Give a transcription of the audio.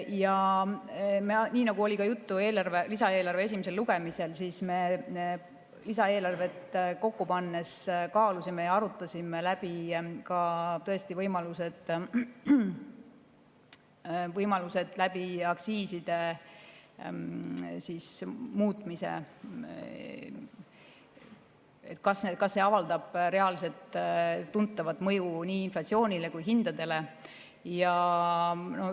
Ja nii nagu oli juttu lisaeelarve esimesel lugemisel, siis me lisaeelarvet kokku pannes tõesti kaalusime ja arutasime läbi võimalused aktsiiside muutmise kaudu, et kas need avaldaks reaalset tuntavat mõju nii inflatsioonile kui ka hindadele.